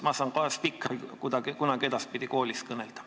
Ma saan ehk endale spikri, kuidas kunagi edaspidi koolis kõnelda.